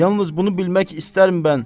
Yalnız bunu bilmək istərəm mən.